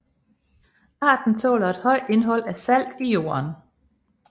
Arten tåler et højt indhold af salt i jorden